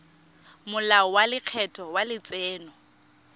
molao wa lekgetho wa letseno